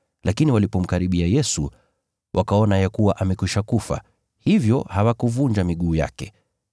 Lakini walipomkaribia Yesu, wakaona ya kuwa amekwisha kufa, hivyo hawakuvunja miguu yake.